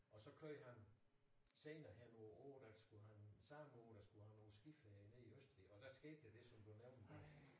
Og så kører han senere hen nogle år der skulle han satme ud og skulle have nogen skiferie nede i Østrig og der skete der det som du nævnte der